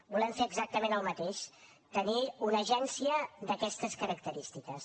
volem fer exactament el mateix tenir una agència d’aquestes característiques